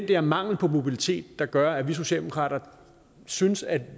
der mangel på mobilitet der gør at vi socialdemokrater synes at